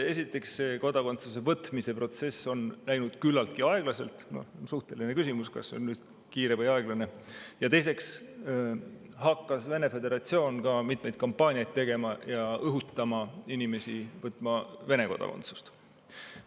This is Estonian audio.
Esiteks, Eesti kodakondsuse võtmise protsess on läinud küllaltki aeglaselt – see on muidugi suhteline küsimus, kas see on kiire või aeglane –, ja teiseks hakkas Vene föderatsioon ka mitmeid kampaaniaid tegema ja õhutama inimesi võtma Vene kodakondsust.